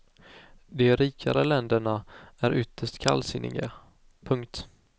De rikare länderna är ytterst kallsinniga. punkt